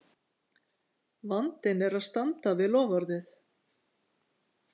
Vandinn er að standa við loforðið!